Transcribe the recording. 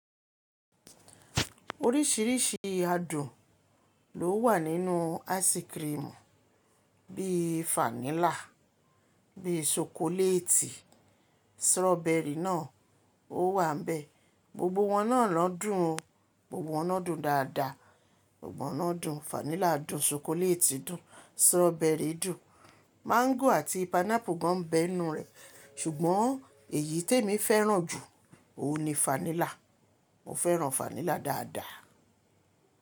Oríṣìíríṣìí adùn ló wà nínú áísíkirimù, bí i fáńílà, bí i ṣokoléètì, sọ̀rọ̀bẹrì náà ó wà bẹ́ẹ̀. Gbogbo wọn náà lọ dùn o, gbogbo wọn náà dùn dáadáa. Fáńílà dùn, ṣokoléètì dùn, sọ̀rọ̀bẹrì dùn, máńgò àti pìnáápù gan bẹ́ inú rẹ̀, ṣùgbọ́n èyí tí èmi fẹ́ràn jù óun ni fáńílà. Mo fẹ́ràn fáńílà dáadáa.